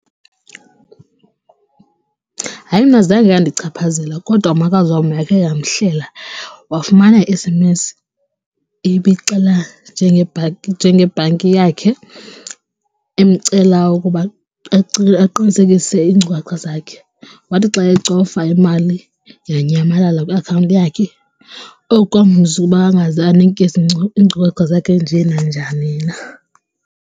Hayi mna zange yandichaphazela kodwa umakazi wam yakhe yamhlela wafumana enye i-S_M_S ibixela njengebhanki yakhe imcela ukuba aqinisekise iinkcukacha zakhe, wathi xa ecofa imali yanyambalala kwiakhawunti. Oku kwamfundisa ukuba angaze anike iinkcukacha zakhe nje nanjani na.